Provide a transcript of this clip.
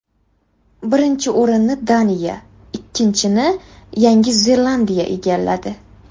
Birinchi o‘rinni Daniya, ikkinchini Yandi Zelandiya egalladi.